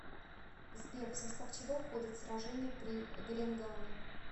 сбер в состав чего входит сражение при гренгаме